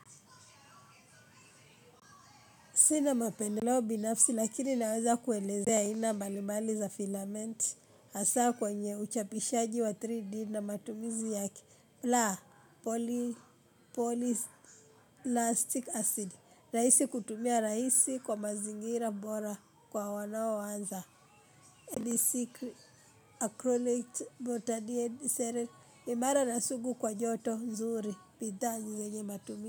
Sina mapendeleo binafsi lakini naweza kuelezea aina mbalimbali za filamenti hasaa kwenye uchapishaji wa 3D na matumizi yake. La polyplastic acid, raisi kutumia raisi kwa mazingira bora kwa wanaoanza Elisikli, acrylic, botanine, seren, imara na sugu kwa joto nzuri, pitha njize nye matumizi.